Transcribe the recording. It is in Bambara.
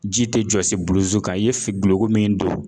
Ji tɛ jɔsi bulu kan i ye duloki min don